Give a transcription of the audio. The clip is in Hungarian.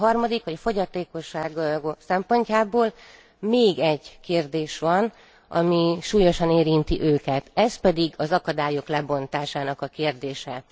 A harmadik, mivel a fogyatékosság szempontjából még egy kérdés van, ami súlyosan érinti őket, ez pedig az akadályok lebontásának a kérdése.